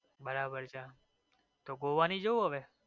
બરાબર છે તો goa નઈ જવું હવે?